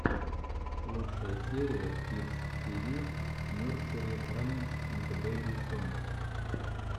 лучшая серия кидс ти ви нерсери раймс энд бэби сонгс